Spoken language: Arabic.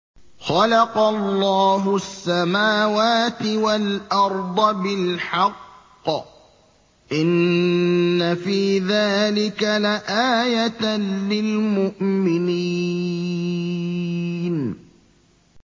خَلَقَ اللَّهُ السَّمَاوَاتِ وَالْأَرْضَ بِالْحَقِّ ۚ إِنَّ فِي ذَٰلِكَ لَآيَةً لِّلْمُؤْمِنِينَ